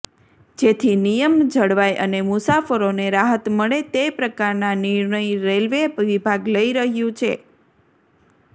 જેથી નિયમ જળવાય અને મુસાફરોને રાહત મળે તે પ્રકારના નિર્ણય રેલવે વિભાગ લઈ રહ્યું છે